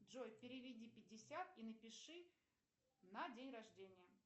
джой переведи пятьдесят и напиши на день рождения